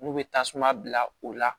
N'u bɛ tasuma bila o la